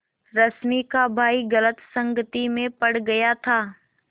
रश्मि का भाई गलत संगति में पड़ गया था